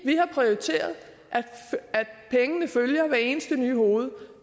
vi har prioriteret at pengene følger hver eneste nye hoved